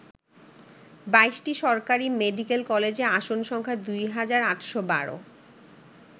২২টি সরকারি মেডিকেল কলেজে আসন সংখ্যা দুই হাজার ৮১২।